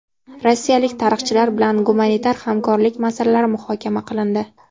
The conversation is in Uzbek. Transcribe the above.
Rossiyalik tarixchilar bilan gumanitar hamkorlik masalalari muhokama qilindi.